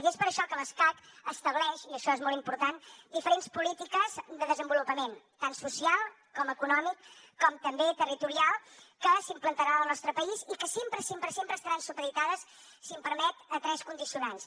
i és per això que l’escacc estableix i això és molt important diferents polítiques de desenvolupament tant social com econòmic com també territorial que s’implantaran al nostre país i que sempre sempre sempre estaran supeditades si m’ho permet a tres condicionants